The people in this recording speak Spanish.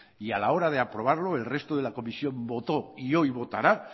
y a la hora de aprobarlo el resto de la comisión votó y hoy votará